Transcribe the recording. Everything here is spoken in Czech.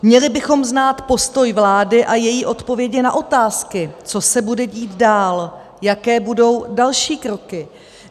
Měli bychom znát postoj vlády a její odpovědi na otázky, co se bude dít dál, jaké budou další kroky.